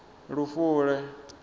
lufule